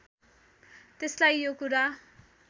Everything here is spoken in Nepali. त्यसलाई यो कुरा